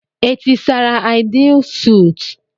Etisara Aịdịil suut?